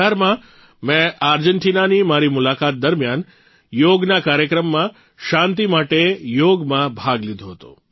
૨૦૧૮માં મેં આર્જેન્ટીનાની મારી મુલાકાત દરમિયાન યોગના કાર્યક્રમમાં શાંતિ માટે યોગમાં ભાગ લીધો હતો